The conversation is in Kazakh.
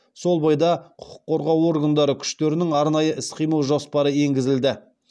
сол бойда құқық қорғау органдары күштерінің арнайы іс қимыл жоспары енгізілді